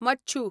मच्छू